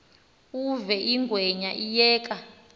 uve ingwenya iyeka